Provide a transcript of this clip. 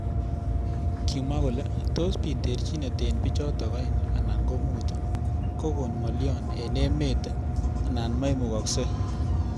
Kimwa kole tos bit terjinet eng bijotok aeng anan ko mut kokon ngalyo eng emet anan memukoksei.